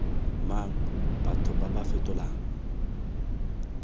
mang batho ba ba fetolang